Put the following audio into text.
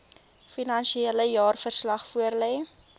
finansiële jaarverslag voorlê